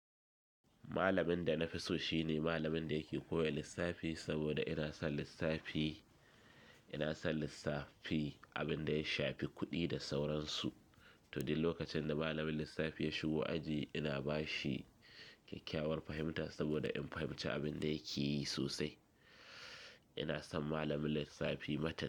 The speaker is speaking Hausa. Malamin da na fi so shi ne malamin da yake koya lissafi saboda ina son lissafi. Ina son lissafi, abin da ya shafi kuɗi da sauransu. To dai lokacin da malamin lissafi ya shigo aji ina ba shi kyakkyawar fahimta saboda in fahimci abin da yake yi sosai. Ina son malamin lissafi matuka.